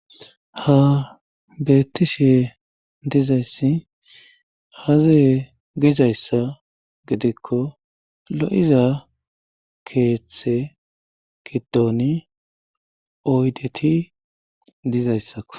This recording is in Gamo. ha beettishee dizayssi aaaziye gizayssa gidikko lo7iza keeththe giddoni oydeti dizayssakko